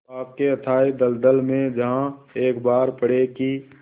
पाप के अथाह दलदल में जहाँ एक बार पड़े कि